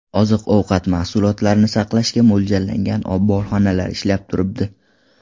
Oziq-ovqat mahsulotlarini saqlashga mo‘ljallangan omborxonalar ishlab turibdi.